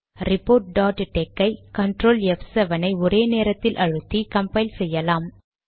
report dot tex ஐ CTRL ப்7 ஐ ஒரே நேரத்தில் அழுத்தி கம்பைல் செய்யலாம்